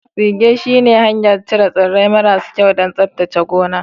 Tsige shine farashin cire tsire-tsire maras so da tsaftace filayen noma.